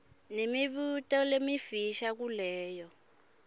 nemibuto lemifisha kuleyo